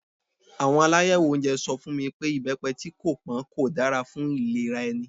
Àwọn alayewo oúnjẹ sọ fún mi pé ibepe tí kò pọn kò dára fún ìlera ẹni.